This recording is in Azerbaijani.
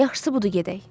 Yaxşısı budur gedək.